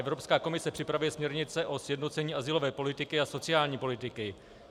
Evropská komise připravuje směrnice o sjednocení azylové politiky a sociální politiky.